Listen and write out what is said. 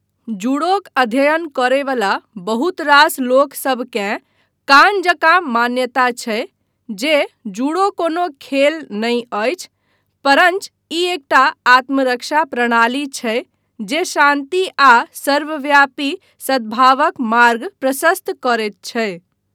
जूडोक अध्ययन करयवला बहुत रास लोकसभकेँ कान जकाँ मान्यता छै जे जूडो कोनो खेल नहि अछि परञ्च ई एकटा आत्मरक्षा प्रणाली छै जे शान्ति आ सर्वव्यापी सद्भावक मार्ग प्रशस्त करैत छै।